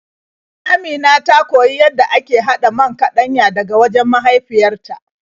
Amina ta koyi yadda ake haɗa man kaɗanya daga wajen mahaifyar ta.